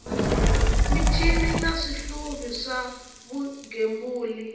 michini na swihluvi swa vugembuli